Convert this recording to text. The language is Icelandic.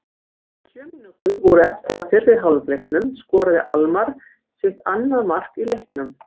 Þegar sjö mínútur voru eftir af fyrri hálfleiknum skoraði Almarr sitt annað mark í leiknum.